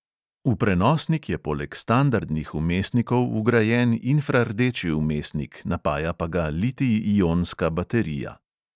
V prenosnik je poleg standardnih vmesnikov vgrajen infrardeči vmesnik, napaja pa ga litij-ionska baterija.